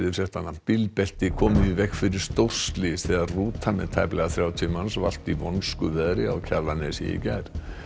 bílbelti komu í veg fyrir stórslys þegar rúta með tæplega þrjátíu manns valt í vonskuveðri á Kjalarnesi í gær